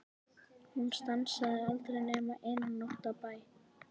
Hún stansaði aldrei nema eina nótt á bæ.